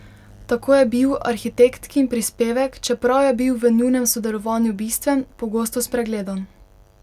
Tako je bil arhitektkin prispevek, čeprav je bil v njunem sodelovanju bistven, pogosto spregledan.